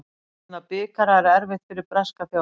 Að vinna bikara er erfitt fyrir breska þjálfara.